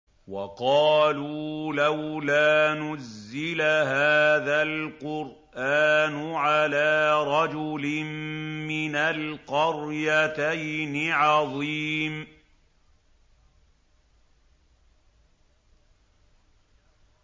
وَقَالُوا لَوْلَا نُزِّلَ هَٰذَا الْقُرْآنُ عَلَىٰ رَجُلٍ مِّنَ الْقَرْيَتَيْنِ عَظِيمٍ